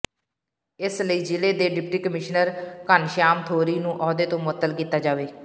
ਇਸ ਲਈ ਜ਼ਿਲ੍ਹੇ ਦੇ ਡਿਪਟੀ ਕਮਿਸ਼ਨਰ ਘਨਸ਼ਿਆਮ ਥੋਰੀ ਨੂੰ ਅਹੁਦੇ ਤੋਂ ਮੁਅੱਤਲ ਕੀਤਾ ਜਾਵੇ